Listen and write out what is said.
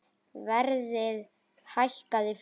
Verðið hækkaði fljótt.